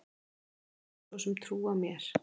Hver myndi svo sem trúa mér?